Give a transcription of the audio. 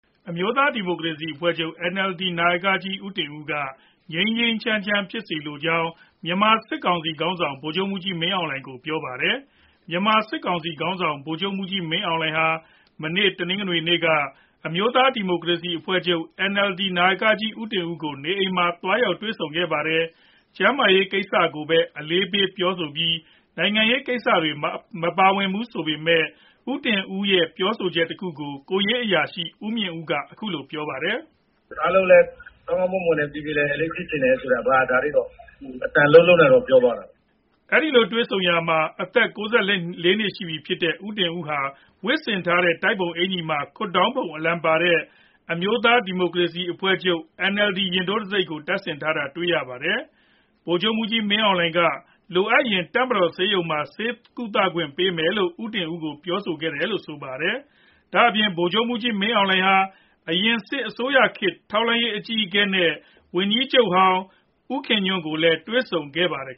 အမျိုးသားဒီမိုကရေစီအဖွဲ့ချုပ် နာယကကြီး ဦးတင်ဦးက ငြိမ်းငြိမ်းချမ်းချမ်း ဖြစ်စေလိုကြောင်း မြန်မာစစ်ကောင်စီခေါင်းဆောင် ဗိုလ်ချုပ်မှူးကြီးမင်းအောင်လှိုင်ကို ပြောပါတယ်။ မြန်မာစစ်ကောင်စီခေါင်းဆောင် ဗိုလ်ချုပ်မှူးကြီးမင်းအောင်လှိုင်ဟာ မနေ့ တနင်္ဂနွေနေ့က အမျိုးသားဒီမိုကရေစီအဖွဲ့ချုပ် နာယကကြီး ဦးတင်ဦးကို နေအိမ်မှာ သွားရောက်တွေ့ဆုံခဲ့ပါတယ်။ ကျန်းမာရေးကိစ္စကိုပဲ အလေးပေးပြောဆိုပြီး နိုင်ငံရေးကိစ္စတွေ မပါဝင်ဘူးဆိုပေမယ့် ဦးတင်ဦးရဲ့ ပြောဆိုချက်တခုကို ကိုယ်ရေးအရာရှိ ဦးမြင့်ဦးက အခုလို ပြောပါတယ်။ “အားလုံးလည်း ကောင်းကောင်းမွန်မွန်နဲ့ ပြေပြေလည်လည်လေး ဖြစ်ချင်တယ်ဆိုတာ အဘက ဒါလေးတော့ အသံ လုံးလုံးနဲ့တော့ ပြောသွားတာပေါ့။” အဲဒီလိုတွေ့ဆုံရာမှာ အသက် ၉၄ နှစ်ရှိပြီဖြစ်တဲ့ ဦးတင်ဦး ဝတ်ဆင်ထားတဲ့ တိုက်ပုံအင်္ကျီမှာ ခွပ်ဒေါင်းပုံ အလံပါတဲ့ အမျိုးသားဒီမိုကရေစီအဖွဲ့ချုပ် ရင်ထိုးတံဆိပ်ကို တပ်ဆင်ထားတာ တွေ့ရပါတယ်။ ဗိုလ်ချုပ်မှူးကြီးမင်းအောင်လှိုင်က လိုအပ်ရင် တပ်မတော်ဆေးရုံမှာ ဆေးကုသခွင့်ပေးမယ်လို့ ဦးတင်ဦးကို ပြောဆိုခဲ့တယ်လို့ ဆိုပါတယ်။ ဒါ့အပြင် ဗိုလ်ချုပ်မှူးကြီးမင်းအောင်လှိုင်ဟာ အရင်စစ်အစိုးရခေတ် ထောက်လှမ်းရေး အကြီးအကဲနဲ့ ဝန်ကြီးချုပ်ဟောင်း အသက် ၈၂ နှစ်ရှိပြီဖြစ်တဲ့ ဦးခင်ညွန့်ကိုလည်း တွေ့ဆုံခဲ့ပါတယ်။